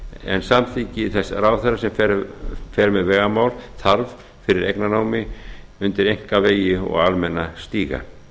en samþykki þess ráðherra sem fer með vegamál þarf fyrir eignarnámi undir einkavegi og almenna stíga